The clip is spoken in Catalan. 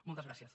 moltes gràcies